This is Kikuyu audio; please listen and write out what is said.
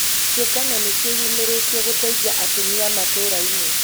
Ciũngano nĩciĩyũmĩrĩtie gũteithia atumia matũrainĩ